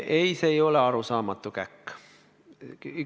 Ei, see ei ole arusaamatu käkk.